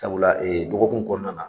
Sabula e dɔgɔkun kɔnɔna na.